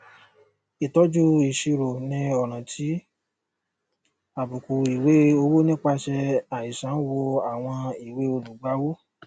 ìtọjú ìṣirò ní ọràn ti àbùkù ìwée owó nípasẹ àìsàn wó àwọn ìwée olùgbàwọ